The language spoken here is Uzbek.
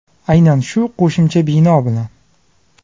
Aynan shu qo‘shimcha bino bilan.